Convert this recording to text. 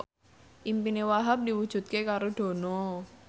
impine Wahhab diwujudke karo Dono